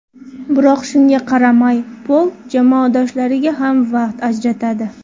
Biroq shunga qaramay, Pol jamoadoshlariga ham vaqt ajratadi.